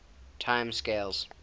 time scales